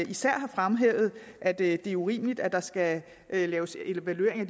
især har fremhævet at det er urimeligt at der skal laves evaluering af